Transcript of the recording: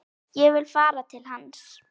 Ég vil fara til hans.